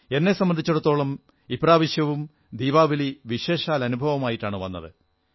എന്നെ സംബന്ധിച്ചിടത്തോളം ഇപ്രാവശ്യവും ദീപാവലി വിശേഷാൽ അനുഭവവുമായിട്ടാണു വന്നത്